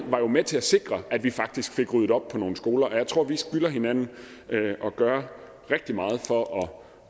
var med til at sikre at vi faktisk fik ryddet op på nogle skoler jeg tror at vi skylder hinanden at gøre rigtig meget for